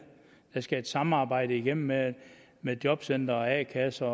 der skal et samarbejde igennem med med jobcenter og a kasser